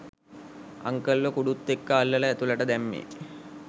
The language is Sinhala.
අන්කල්ව කුඩුත් එක්‌ක අල්ලලා ඇතුළට දැම්මේ